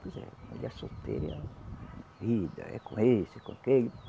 Pois é. Mulher solteira é a vida, é com esse, é com aquele.